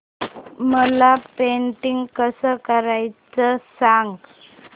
मला पेंटिंग कसं करायचं सांग